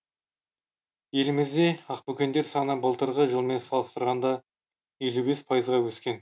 елімізде ақбөкендер саны былтырғы жылмен салыстырғанда елу бес пайызға өскен